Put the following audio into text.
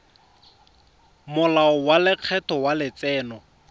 molao wa lekgetho wa letseno